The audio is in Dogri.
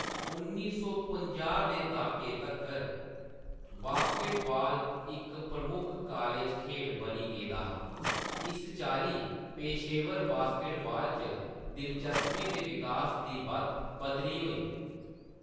उन्नी सौ पंजाह् दे द्हाके तक्कर, बास्केटबॉल इक प्रमुख कालेज खेढ बनी गेदा हा, इस चाल्ली पेशेवर बास्केटबॉल च दिलचस्पी दे विकास दी बत्त पद्धरी होई।